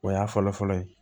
O y'a fɔlɔfɔlɔ ye